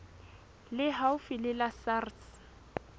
le haufi le la sars